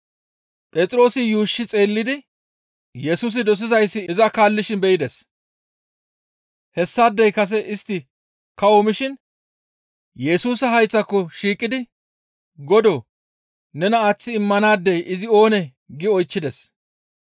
Phexroosi yuushshi xeellidi Yesusi dosizayssi iza kaallishin be7ides; hessaadey kase istti kawo mishin Yesusa hayththako shiiqidi, «Godoo! Nena aaththi immanaadey izi oonee?» gi oychchides.